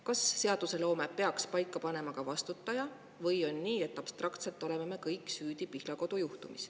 Kas seaduseloome peaks paika panema ka vastutaja või on nii, et abstraktselt oleme me kõik süüdi Pihlakodu juhtumis.